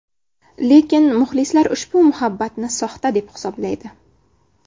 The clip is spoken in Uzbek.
Lekin muxlislar ushbu muhabbatni soxta deb hisoblaydi.